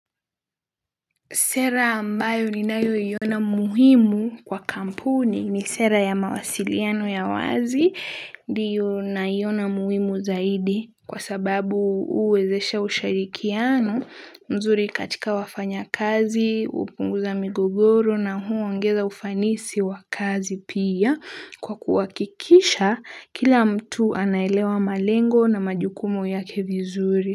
Sera ambayo ninayo iona muhimu kwa kampuni ni sera ya mawasiliano ya wazi ndiyo naiona muhimu zaidi kwa sababu huwezesha ushirikiano mzuri katika wafanyakazi hupunguza migogoro na huongeza ufanisi wakazi pia kwa kuhakikisha kila mtu anaelewa malengo na majukumo yake vizuri.